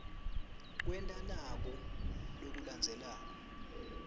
kwenta naku lokulandzelako